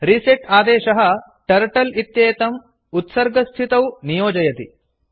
reset आदेशः turtle इत्येतम् उत्सर्गस्थितौ डीफाल्ट् नियोजयति